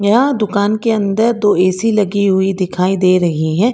यह दुकान के अंदर दो ए_सी लगी हुई दिखाई दे रही है।